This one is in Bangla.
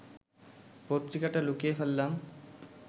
পত্রিকাটা লুকিয়ে ফেললাম